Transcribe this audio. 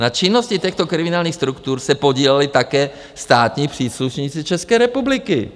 Na činnosti těchto kriminálních struktur se podíleli také státní příslušníci České republiky.